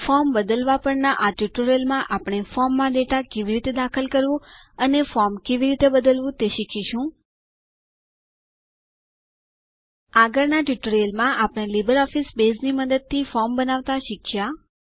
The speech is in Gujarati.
ફોર્મ બદલવા પરના આ ટ્યુટોરીયલમાં આપણે ફોર્મમાં ડેટા કેવી રીતે દાખલ કરવું અને ફોર્મ કેવી રીતે બદલવું તે શીખીશું આગળના ટ્યુટોરીયલમાં આપણે લીબરઓફીસ બેઝની મદદથી ફોર્મ બનાવતા શીખીશું